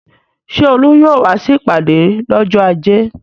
Ṣé Olú yóò wá sí ìpàdé lọ́jọ́ ajé?